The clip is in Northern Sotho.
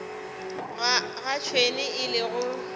ga tšhwene e le go